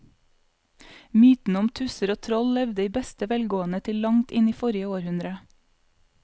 Mytene om tusser og troll levde i beste velgående til langt inn i forrige århundre.